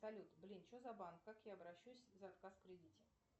салют блин что за банк как я обращусь за отказ в кредите